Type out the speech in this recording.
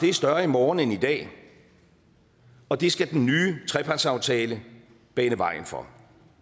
er større i morgen end i dag og det skal den nye trepartsaftale bane vejen for